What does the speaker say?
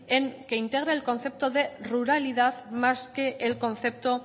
en que integre el concepto de ruralidad más que el concepto